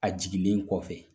A jiginlen kɔfɛ